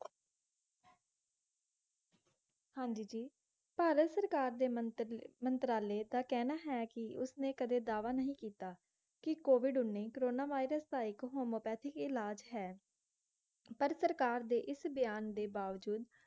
ਹਾਂਜੀ ਜੀ, ਭਾਰਤ ਸਰਕਾਰ ਦੇ ਮੰਤਰੀ ਮੰਤਰਾਲੇ ਦਾ ਕਹਿਣਾ ਹੈ ਕਿ ਉਸ ਨੇ ਕਦੇ ਦਾਅਵਾ ਨਹੀਂ ਕਿੱਤਾ ਕਿ ਕੋਵਿਡ-ਉਨੀ ਕੋਰੋਨਾ virus ਦਾ ਇੱਕ homeopathic ਇਲਾਜ ਹੈ ਪਰ ਸਰਕਾਰ ਦੇ ਇਸ ਬਿਆਨ ਦੇ ਬਾਵਜੂਦ